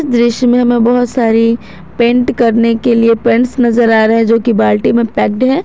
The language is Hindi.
दृश्य में हमे बहोत सारे पेंट करने के लिए पेंट्स नजर आ रहे जो की बाल्टी में पैक्ड है।